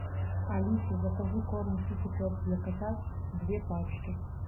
алиса закажи корм китикет для котят две пачки